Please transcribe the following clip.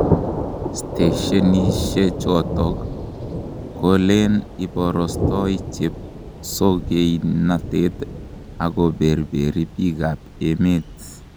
Steshenisiechoto kelen ibarastoi chepsogeinatet ak koberberi bikab emet.